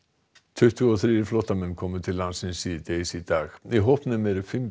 tuttugu og þrír flóttamenn komu til landsins síðdegis í dag í hópnum eru fimm